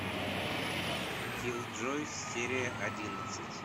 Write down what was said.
киллджойс серия одиннадцать